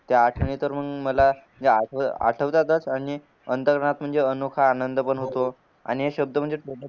त्या आठवणी तर मंग मला आठवतातच आणि म्हणजे अनोखा आनंद पण होतो आणि हे